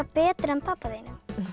betur en pabba þínum